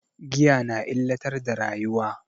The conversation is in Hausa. Giya na illatar da rayuwa.